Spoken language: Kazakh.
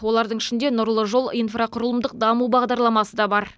олардың ішінде нұрлы жол инфрақұрылымдық даму бағдарламасы да бар